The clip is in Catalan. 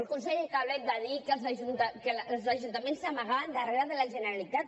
el conseller calvet va dir que els ajuntaments s’amagaven darrere de la generalitat